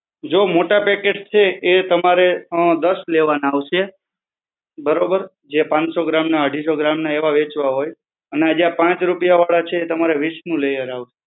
જો મોટા packets છે એ તમારે અ દસ લેવાના આવશે, બરોબર? જે પાંચ સૌ ગ્રા ના અઢી સૌ ગ્રામ ના એવા વહેંચવા હોય, અને આ જે આ પાંચ રૂપિયા વાળા છે, એ તમારે વિસનું લેયર આવશે.